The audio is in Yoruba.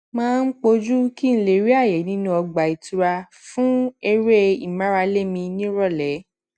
máa ń pò jù kí n lè rí àyè nínú ọgbà ìtura fún eré ìmárale mi ní ìròlé